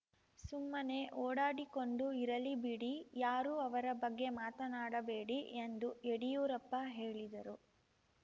ಸುಮ್ಮನೆ ಓಡಾಡಿಕೊಂಡು ಇರಲಿ ಬಿಡಿ ಯಾರೂ ಅವರ ಬಗ್ಗೆ ಮಾತನಾಡಬೇಡಿ ಎಂದು ಯಡಿಯೂರಪ್ಪ ಹೇಳಿದರು